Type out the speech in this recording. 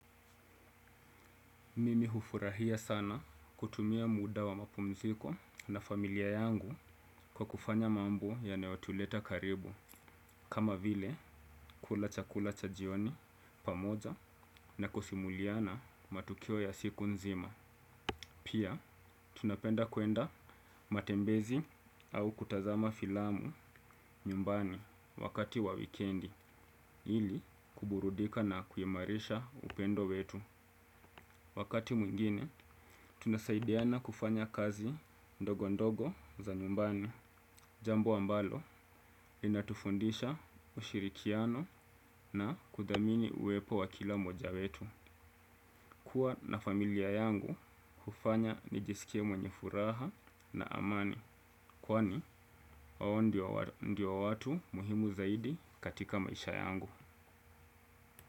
Mimi hufurahia sana kutumia muda wa mapumziko na familia yangu kwa kufanya mambo yanayotuleta karibu kama vile kula chakula cha jioni pamoja na kusimuliana matukio ya siku nzima. Pia tunapenda kuenda matembezi au kutazama filamu nyumbani wakati wa wikendi ili kuburudika na kuimarisha upendo wetu. Wakati mwingine, tunasaidiana kufanya kazi ndogo ndogo za nyumbani. Jambo ambalo, linatufundisha ushirikiano na kudhamini uwepo wa kila mmoja wetu. Kua na familia yangu hufanya nijisikie mwenye furaha na amani. Kwani, wao ndio watu muhimu zaidi katika maisha yangu.